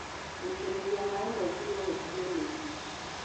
Gũitĩrĩria maĩ maingĩ nogũtũme mĩri ĩbuthe